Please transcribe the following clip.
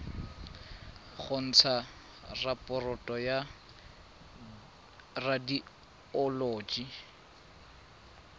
go ntsha raporoto ya radioloji